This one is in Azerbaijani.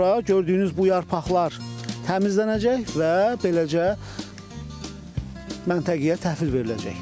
Daha sonra gördüyünüz bu yarpaqlar təmizlənəcək və beləcə məntəqəyə təhvil veriləcək.